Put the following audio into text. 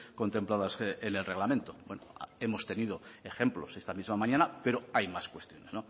contempladas en el reglamento bueno hemos tenido ejemplos esta misma mañana pero hay más cuestiones